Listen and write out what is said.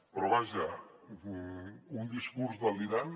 però vaja un discurs delirant